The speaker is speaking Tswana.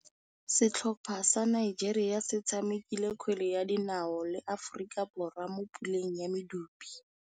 Setlhopha sa Nigeria se tshamekile kgwele ya dinaô le Aforika Borwa mo puleng ya medupe.